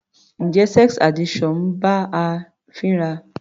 Njẹ́ sex addiction ń bá a fínra?